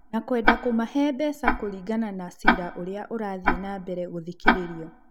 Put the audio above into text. na kwenda kũmahe mbeca kũringana na cira ũrĩa ũrathiĩnambere gũthikĩrĩrio.